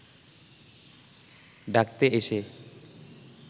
ডাকতে এসে